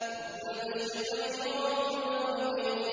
رَبُّ الْمَشْرِقَيْنِ وَرَبُّ الْمَغْرِبَيْنِ